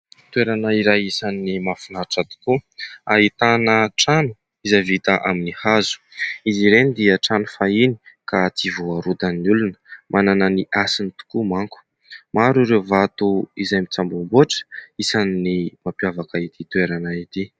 Toerana iray isan'ny mahafinatra tokoa, ahitana trano izay vita amin'ny hazo, izy ireny dia trano fahiny ka tsy voarodan'ny olona. Manana ny hasiny tokoa mantsy; maro ireo vato izay mitsamboamboatra isan'ny mampiavaka ity toerana ity.